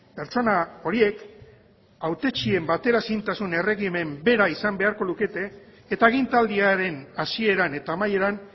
pertsona horiek hautetsien bateraezintasun erregimen bera izan beharko lukete eta agintaldiaren hasieran eta amaieran